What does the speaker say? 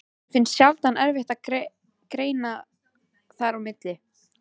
Honum finnst sjaldan erfitt að greina þar á milli.